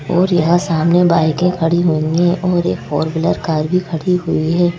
और यहां सामने बाईकें खड़ी हुई है और एक फोर व्हीलर कार भी खड़ी हुई है।